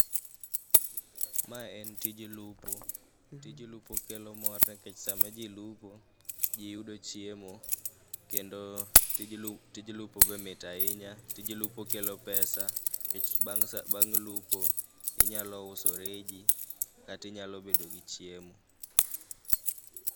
Mae en tij lupo .Tij lupo kelo mor nikech sama ji lupo ji yudo chiemo. Kendoo tij lup tij lupo be mit ahinya. Tij lupo kelo pesa nikech bang' lupo inyalo uso reji kata inyalo bedogi chiemo.